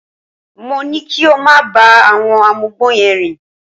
Mo ní kí ó máa bá àwọn amugbó yẹn rìn